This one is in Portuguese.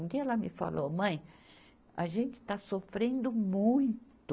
Um dia ela me falou, mãe, a gente está sofrendo muito.